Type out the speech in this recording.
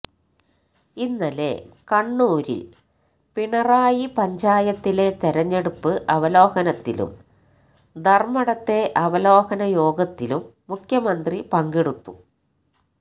ഇന്നലെ കണ്ണൂരില് പിണറായി പഞ്ചായത്തിലെ തെരഞ്ഞെടുപ്പ് അവലോകനത്തിലും ധര്മടത്തെ അവലോകന യോഗത്തിലും മുഖ്യമന്ത്രി പങ്കെടുത്തു